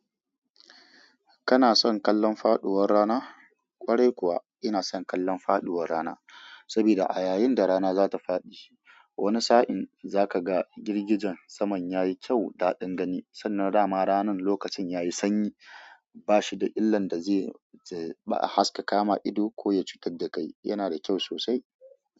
Kana son kallan faduwar rana? Kwarai kuwa ina son kallan faduwar rana sabida a yayin da rana zata faɗi, wani sa'in zaka ga girgijen saman yayi kyau daɗin gani sannan dama ranan lokacin yayi sanyi bashi da illan dazai ahaska kama ido ko ya cutar da kai, yana da kyau sosai.